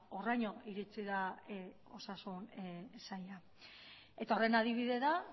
horraino iritsi da osasun saila eta horren adibide da